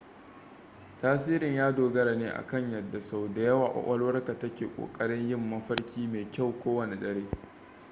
tasirin ya dogara ne akan yadda sau da yawa kwakwalwarka take ƙoƙarin yin mafarki mai kyau kowane dare